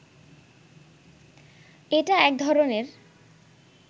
এটা একধরনের